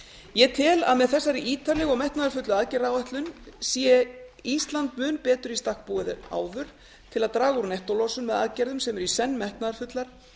ég tel að með þessari ítarlegu og metnaðarfullu aðgerðaáætlun sé ísland mun betur í stakk búið en áður til að draga úr nettólosun með aðgerðum sem eru í senn metnaðarfullar